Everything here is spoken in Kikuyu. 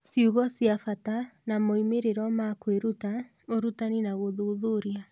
Ciugo cia bata na moimĩrĩro ma kwĩruta, ũrutani na gũthuthuria.